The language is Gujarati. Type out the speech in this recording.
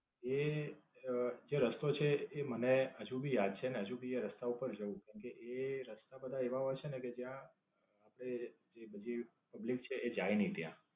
એ અમ જે રસ્તો છે એ મને હજુ ભી યાદ છે અને હજુ ભી એ રસ્તા પર જઉં કેમકે, એ રસ્તા બધા એવા હોય છે કે જ્યાં આપડે જે બીજી public છે એ જાય ની ત્યાં.